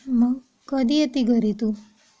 मग कधी येताय घरी तू?